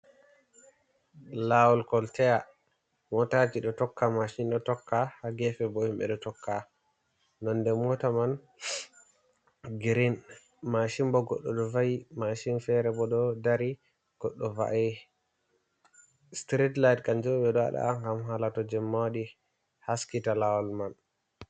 Lawol Koltaya: Motaji ɗo tokka, mashin ɗo tokka. Ha gefe bo himɓe ɗo tokka. Nonde mota man grin. Mashin bo goɗɗo ɗo va’i. Mashin fere bo ɗo dari goɗɗo va’ai. Street lite kanjum on ɓeɗo waɗa hala to jemma waɗi haskita lawol man.